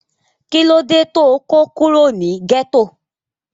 kí ló dé tó kó kúrò ní gẹ́tò?